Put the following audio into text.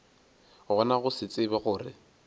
gona go se tsebe gore